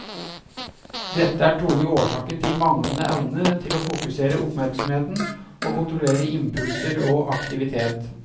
Dette er trolig årsaken til manglende evne til å fokusere oppmerksomheten, og kontrollere impulser og aktivitet.